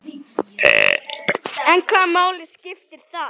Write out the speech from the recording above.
En hvaða máli skiptir það?